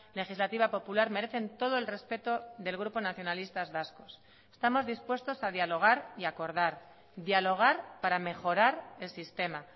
legislativa popular merecen todo el respeto del grupo nacionalistas vascos estamos dispuestos a dialogar y a acordar dialogar para mejorar el sistema